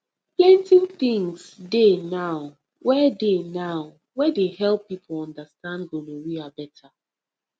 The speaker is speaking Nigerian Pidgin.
plenty things dey now wey dey now wey dey help people understand gonorrhea better